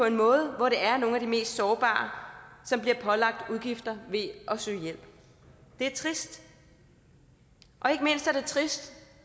en måde hvor det er nogle af de mest sårbare som bliver pålagt udgifter ved at søge hjælp det er trist og ikke mindst er det trist